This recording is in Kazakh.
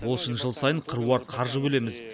ол үшін жыл сайын қыруар қаржы бөлеміз